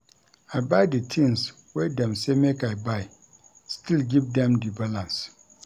I buy di tins wey dem sey make I buy still give dem di balance.